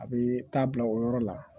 A bɛ taa bila o yɔrɔ la